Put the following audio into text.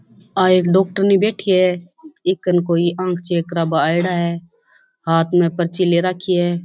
और एक डॉक्टरनी बैठी है एकन कोई आँख चेक करा बा आयडा है हाथ में पर्ची ले रखी है।